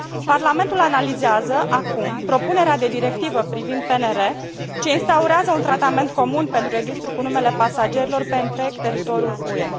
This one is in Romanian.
Parlamentul analizează acum propunerea de directivă privind PNR, ce instaurează un tratament comun pentru registrul cu numele pasagerilor pe întreg teritoriul UE.